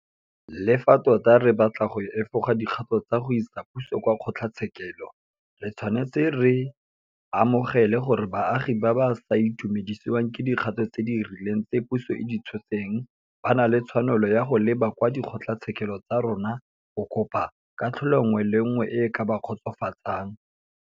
Le fa tota re batla go efoga dikgato tsa go isa puso kwa kgotlatshekelo, re tshwanetse re amogele gore baagi ba ba sa itumedisiwang ke dikgato tse di rileng tse puso e di tshotseng ba na le tshwanelo ya go leba kwa dikgotlatshekelo tsa rona go kopa katlholo nngwe le nngwe e e ka ba kgotsofatsang.